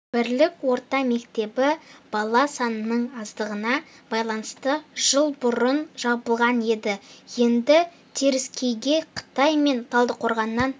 бірлік орта мектебі бала санының аздығына байланысты жыл бұрын жабылған еді енді теріскейге қытай мен талдықорғаннан